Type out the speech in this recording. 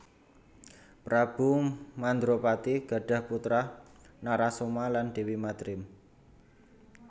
Prabu Mandrapati gadhah putra Narasoma lan Déwi Madrim